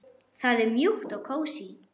Það er mjúkt og kósí.